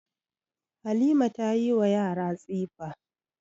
Halima ta yi wa yara tsifa.